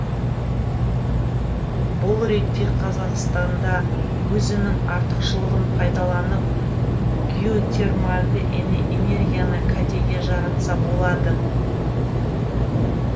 бұл ретте қазақстан да өзінің артықшылығын пайдаланып геотермальды энергияны кәдеге жаратса болады